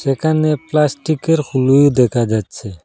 একানে প্লাস্টিকের হলু দেকা যাচ্চে।